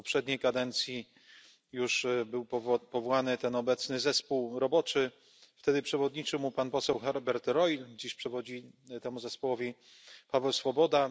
W poprzedniej kadencji już był powołany ten obecny zespół roboczy, wtedy przewodniczył mu pan poseł Herbert Reul, dziś przewodzi temu zespołowi Pavel Svoboda.